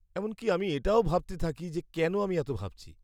এমনকি আমি এটাও ভাবতে থাকি যে কেন আমি এত ভাবছি।